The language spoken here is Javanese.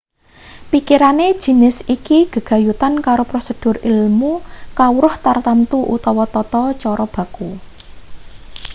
pikirane jinis iki gegayutan karo prosedur ilmu kawruh tartamtu utawa tata cara baku